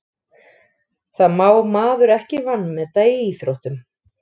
Það má maður ekki vanmeta í íþróttum.